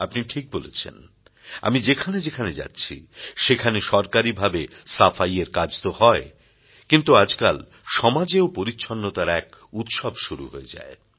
আপনি ঠিক বলেছেন আমি যেখানে যেখানে যাচ্ছি সেখানে সরকারীভাবে সাফাইয়ের কাজ তো হয় কিন্তু আজকাল সমাজেও পরিচ্ছন্নতার এক উৎসব শুরু হয়ে যায়